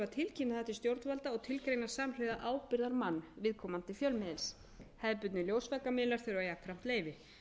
á stofn fjölmiðla og tilgreina samhliða ábyrgðarmann viðkomandi fjölmiðils hefðbundnir ljósvakamiðlar þurfa jafnframt leyfi